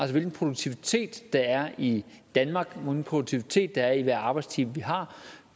hvilken produktivitet der er i danmark hvilken produktivitet der er i hver arbejdstime vi har